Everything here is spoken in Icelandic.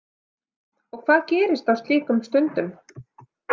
Og hvað gerist á slíkum stundum?